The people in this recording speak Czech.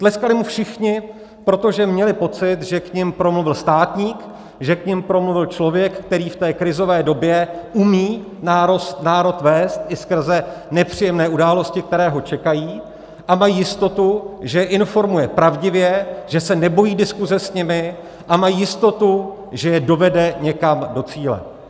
Tleskali mu všichni, protože měli pocit, že k nim promluvil státník, že k nim promluvil člověk, který v té krizové době umí národ vést i skrze nepříjemné události, které ho čekají, a mají jistotu, že je informuje pravdivě, že se nebojí diskuze s nimi, a mají jistotu, že je dovede někam do cíle.